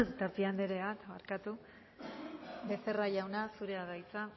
tapia andrea becerra jauna zurea da hitza